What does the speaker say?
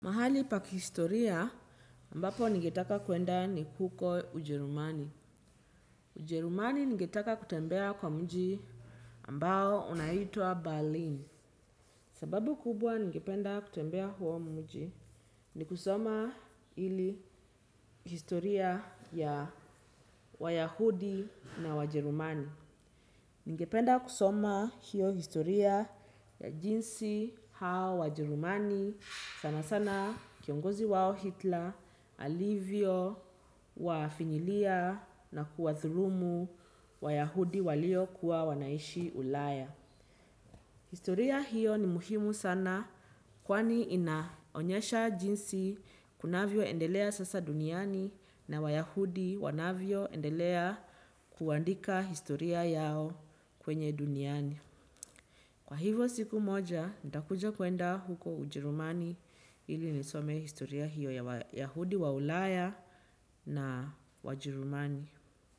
Mahali pa kihistoria ambapo ningetaka kuenda ni huko ujerumani. Ujerumani ningetaka kutembea kwa mji ambao unaitwa Berlin. Sababu kubwa ningependa kutembea huo mji ni kusoma ili historia ya wayahudi na wajerumani. Ningependa kusoma hiyo historia ya jinsi hao wajerumani. Sana sana kiongozi wao Hitler, Alivyo, wafinyilia na kuwadhulumu wayahudi walio kuwa wanaishi ulaya. Historia hiyo ni muhimu sana kwani inaonyesha jinsi kunavyo endelea sasa duniani na wayahudi wanavyo endelea kuandika historia yao kwenye duniani. Kwa hivyo siku moja, nitakuja kuenda huko ujerumani ili nisome historia hiyo ya wayahudi wa ulaya na wajerumani.